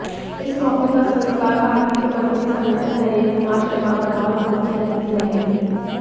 इस मौके पर संस्कार भारती के मंत्री संगठन नरेंद्र कुमार शर्मा बतौर मुख्य अतिथि रहे